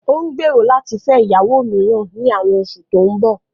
Ó ń gbèrò láti fẹ́ ìyàwó mìíràn ní àwọn oṣù tó ń bọ̀